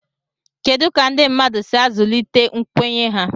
kedu ka ndị mmadụ si azụlite nkwenye ha